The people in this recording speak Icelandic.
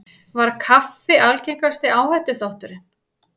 Var kaffi algengasti áhættuþátturinn